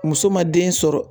Muso ma den sɔrɔ